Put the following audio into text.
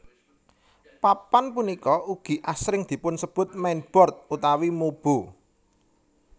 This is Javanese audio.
Papan punika ugi asring dipunsebut mainboard utawi mobo